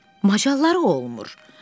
macalları olmur.